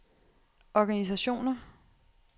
organisationer